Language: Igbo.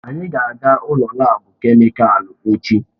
Anyị ga-aga ụlọ laabu kemịkalụ echi.